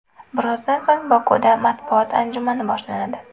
Birozdan so‘ng Bokuda matbuot-anjumani boshlanadi.